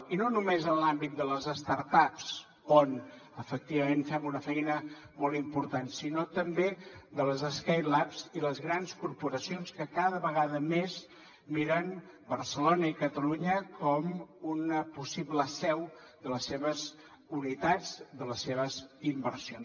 i no només en l’àmbit de les start ups on efectivament fem una feina molt important sinó també de les skylabs i les grans corporacions que cada vegada més miren barcelona i catalunya com una possible seu de les seves unitats de les seves inversions